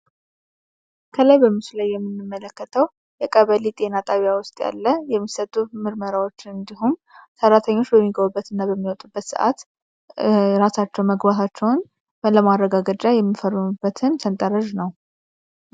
ከላይ በምስሉ ላይ የሚንመለከተው የቀበሊ ጤና ጣቢያ ውስጥ ያለ የሚሰጡ ምርመራዎች እንዲሁም ሰራተኞች በሚገቡበት እና በሚወጡበት ሰዓት እራሳቸው መግባታቸውን በለማድረጋ ገጃ የሚፈሩኑበትን ሰንጠረዥ ነው።